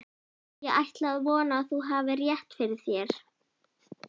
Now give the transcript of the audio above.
Ég ætla að vona, að þú hafir rétt fyrir þér